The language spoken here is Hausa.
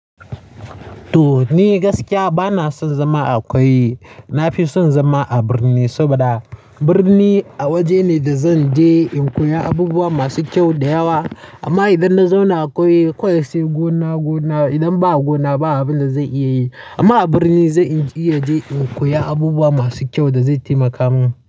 To ni gaskiya bana son zama a ƙauye. Na fi son zama a birni saboda birni a waje ne da zan je in koya abubuwa masu kyau da yawa. Amma idan na zauna a ƙauye, ƙauye sai gona gona. Idan ba gona ba, abinda zan iya yi. Amma a birni zan iya je in koya abubuwa masu kyau da zai taimaka min.